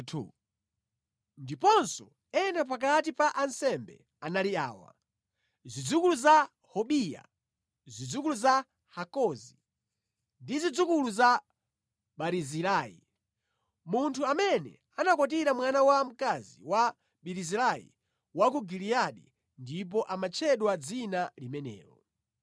Ndiponso ena pakati pa ansembe anali awa: zidzukulu za Hobiya, zidzukulu za Hakozi ndi zidzukulu za Barizilai (munthu amene anakwatira mwana wamkazi wa Barizilai wa ku Giliyadi ndipo amatchedwa dzina limenelo).